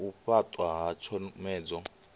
ya u fhaṱwa ha tshomedzo